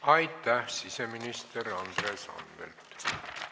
Aitäh, siseminister Andres Anvelt!